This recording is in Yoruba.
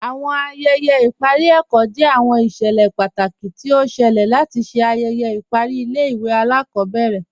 Awọn ayẹyẹ ayẹyẹ ipari ẹkọ jẹ awọn iṣẹlẹ pátákì tó ọ ṣẹ̀lẹ̀ látì ṣè ayẹyẹ ipari ilẹ̀-ìwé alakọbẹrẹ.